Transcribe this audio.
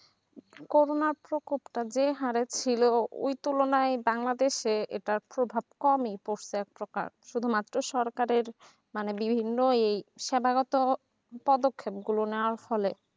করোনার শোক উত্তাপ যে হরে ছিল ওই তুলনায় বাংলাদেশে এটা প্রভাব কমই পড়ছে একপ্রকার শুধু মাত্র সরকারের মানে বিভিন্ন এই সেবা গত পদক্ষেপ গুলো নেওয়ার ফলে